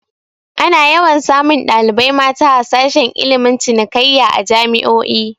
Ana yawan samun ɗalibai mata a sashe ilmin cinikayya a jami'o'i